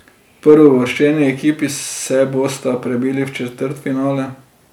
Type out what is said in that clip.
Prvouvrščeni ekipi se bosta prebili v četrtfinale.